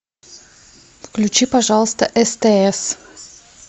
включи пожалуйста стс